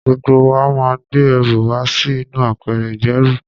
Gbogbo wa máa gbé ẹrù wa sí inú apẹ̀rẹ̀ ìgbẹ́rù.